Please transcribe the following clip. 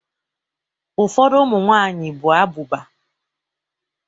Ufodu umunwanyi bu abuba